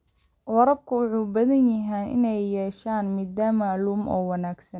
Waraabka wuxuu u baahan yahay inuu yeesho nidaam maamul oo wanaagsan.